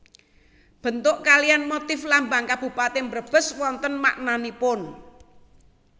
Bentuk kaliyan motif lambang Kabupatèn Brebes wonten maknanipun